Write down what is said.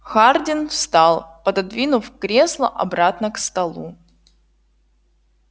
хардин встал пододвинув кресло обратно к столу